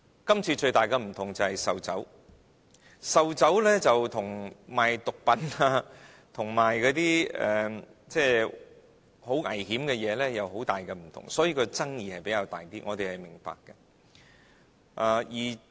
今次最大的不同便是售酒，售酒跟賣毒品、危險品有極大分別，所以爭議性也比較大，這點我們是明白的。